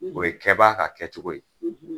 o ye kɛbaa ka kɛcogo ye.